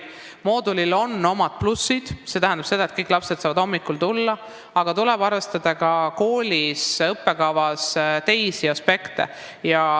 Moodulil on omad plussid, st kõik lapsed saavad hommikul kooli tulla, aga tuleb arvestada ka kooli õppekava teisi aspekte.